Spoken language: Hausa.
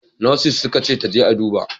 Nurses suka ce ta je a duba!